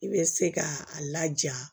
I bɛ se k'a laja